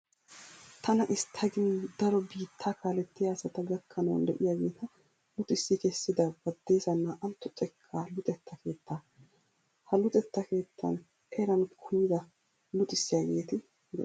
Tana istta gin daro biittaa kaalettiya asata gakkanawu de'iyageeta luxissi kessida Baddeesa naa"antto xekkaa luxetta keettaa. Ha luxetta keettan eran kumida luxissiyageeti de'osona.